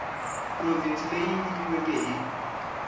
provhinsi leyi yi nyikiweke hi